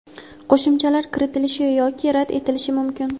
qo‘shimchalar kiritilishi yoki rad etilishi mumkin.